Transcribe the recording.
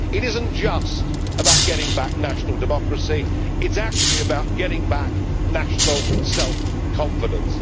It is not just about getting back national democracy it is about getting back national self confidence.